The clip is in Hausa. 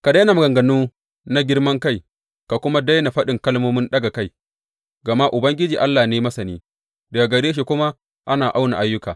Ka daina maganganu na girman kai ka kuma daina faɗin kalmomin ɗaga kai; gama Ubangiji Allah ne masani daga gare shi kuma ana auna ayyuka.